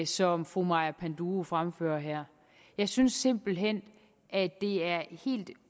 som fru maja panduro fremfører her jeg synes simpelt hen at det er helt